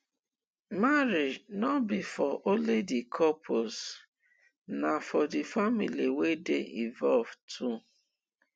marriage no be for only di couples na for di families wey de involved too